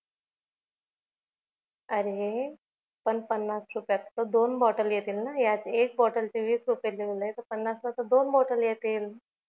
अरे पण पन्नास रुपयात तर दोन बॉटल येतील ना यात एक बॉटल चे वीस रुपय लिहीवलाय तर पन्नास ला तर दोन बॉटल येतील